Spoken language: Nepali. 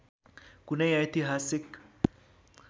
कुनै ऐतिहासिक